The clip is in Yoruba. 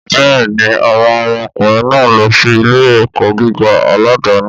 Bẹ́ẹ̀ni, àwọn ọmọ ọkùnrin náà ń lọ sí ilé-ẹ̀kọ́ gíga aládàáni.